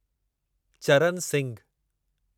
Charan Singhu